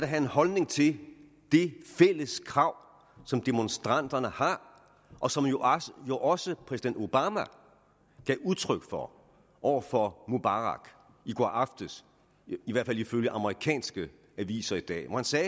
have en holdning til det fælles krav som demonstranterne har og som også præsident obama gav udtryk for over for mubarak i går aftes i hvert fald ifølge amerikanske aviser i dag hvor han sagde